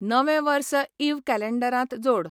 नवें वर्स इव कॅलेन्डरांत जोड